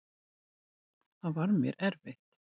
Það var mér erfitt.